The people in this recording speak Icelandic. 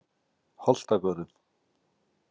Holtagörðum